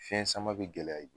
Fɛnɲi sama b'i gɛlɛya i bolo